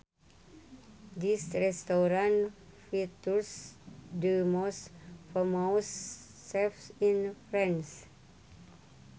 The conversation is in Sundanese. This restaurant features the most famous chefs in France